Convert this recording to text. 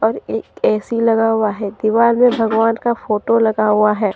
और एक ए_सी लगा हुआ है दीवार मे भगवान का फोटो लगा हुआ है।